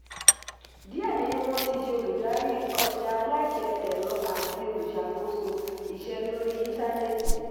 díẹ̀ nínú wọn ti di olùdarí ọjà aláṣẹ ẹ̀rọ àti olùṣàkóso iṣẹ́ lórí intanẹẹti.